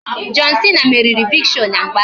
John Cena meriri Big Show na mgba ahụ